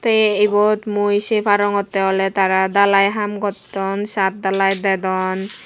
amai ebod mui say parongotte olay tara dalai hum goton chat dalai dadone.